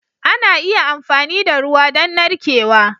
Ana iya amfani da ruwa don narkewa.